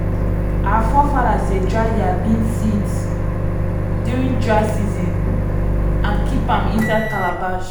our forefathers dey dry their bean seeds during dry season and keep am inside calabash.